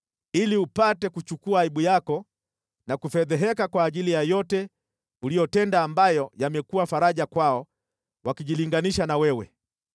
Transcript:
ili upate kuchukua aibu yako na kufedheheka kwa ajili ya yote uliyotenda ambayo yamekuwa faraja kwao wakijilinganisha na wewe.